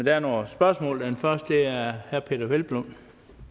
er nogle spørgsmål er det fra herre peder hvelplund